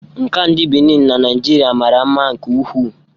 Nka ndị Benin na Naijiria mara mma nke ukwuu